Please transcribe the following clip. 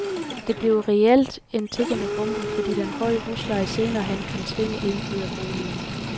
Det bliver reelt en tikkende bombe, fordi den høje husleje senere hen kan tvinge en ud af boligen.